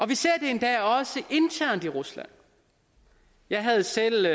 vi ser det endda også internt i rusland jeg havde selv